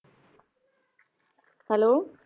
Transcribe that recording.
Hello